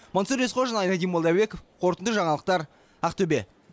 мансұр есқожин айнадин молдабеков қорытынды жаңалықтар ақтөбе